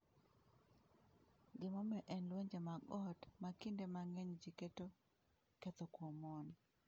Gimomiyo en lwenje mag ot, ma kinde mang’eny ji keto ketho kuom mon.